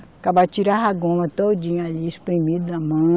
Acabava tirava a goma todinha ali, espremida na mão.